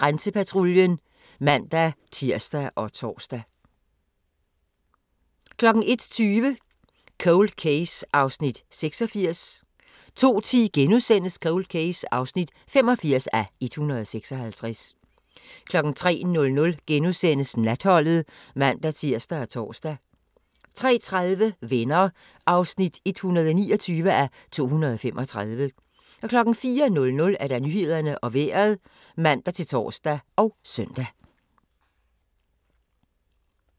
00:50: Grænsepatruljen (man-tir og tor) 01:20: Cold Case (86:156) 02:10: Cold Case (85:156)* 03:00: Natholdet *(man-tir og tor) 03:30: Venner (129:235) 04:00: Nyhederne og Vejret (man-tor og søn)